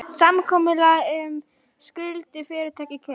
Samkomulag um skuldir fyrirtækja kynnt